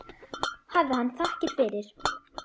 Hafi hann þakkir fyrir.